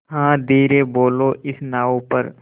हाँ धीरे बोलो इस नाव पर